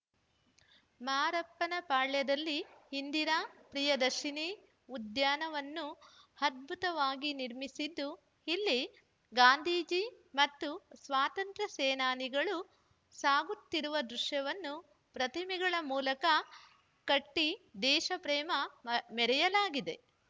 ಮಾರಪ್ಪನಪಾಳ್ಯದಲ್ಲಿ ಇಂದಿರಾ ಪ್ರಿಯದರ್ಶಿನಿ ಉದ್ಯಾನವನ್ನು ಅದ್ಭುತವಾಗಿ ನಿರ್ಮಿಸಿದ್ದು ಇಲ್ಲಿ ಗಾಂಧೀಜಿ ಮತ್ತು ಸ್ವಾತಂತ್ರ್ಯ ಸೇನಾನಿಗಳು ಸಾಗುತ್ತಿರುವ ದೃಶ್ಯವನ್ನು ಪ್ರತಿಮೆಗಳ ಮೂಲಕ ಕಟ್ಟಿದೇಶ ಪ್ರೇಮ ಮ ಮೆರೆಯಲಾಗಿದೆ